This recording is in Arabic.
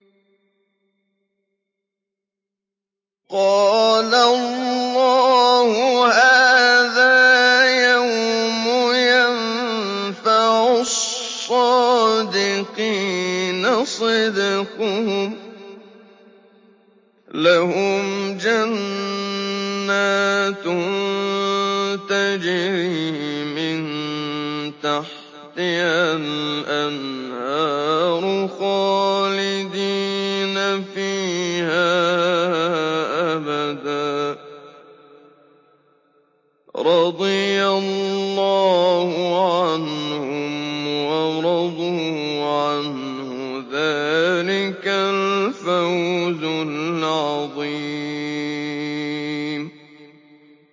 قَالَ اللَّهُ هَٰذَا يَوْمُ يَنفَعُ الصَّادِقِينَ صِدْقُهُمْ ۚ لَهُمْ جَنَّاتٌ تَجْرِي مِن تَحْتِهَا الْأَنْهَارُ خَالِدِينَ فِيهَا أَبَدًا ۚ رَّضِيَ اللَّهُ عَنْهُمْ وَرَضُوا عَنْهُ ۚ ذَٰلِكَ الْفَوْزُ الْعَظِيمُ